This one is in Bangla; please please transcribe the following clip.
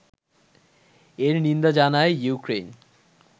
এর নিন্দা জানায় ইউক্রেইন